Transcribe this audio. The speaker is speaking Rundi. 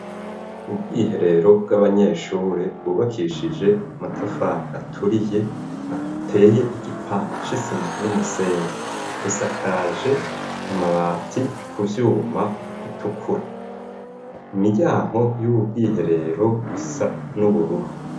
ubwiherero bw'abanyeshuri bwubakishije amatafari aturiye ateye igipande cisima numusenyi busakaje amabati ku vyuma bitukura u miryango y'ububwiherero isa n'ubururu